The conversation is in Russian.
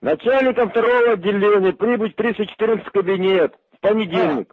начальникам второго отделения прибыть в триста четырнадцатый кабинет в понедельник